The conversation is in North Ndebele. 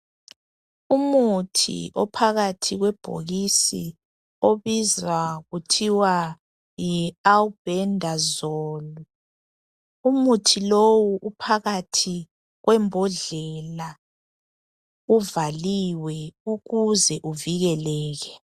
Umuthi ophakathi kwebhokisi obizwa kuthiwa yi"Albendazole" umuthi lowu uphakathi kwembodlela uvaliwe ukuze uvikeleke.